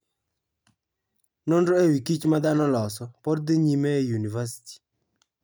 Nonro e wi kich ma dhano oloso, pod dhi nyime e yunivasiti.